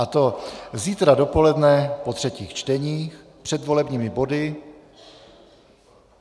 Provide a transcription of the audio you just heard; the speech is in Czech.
A to zítra dopoledne po třetích čteních před volebními body.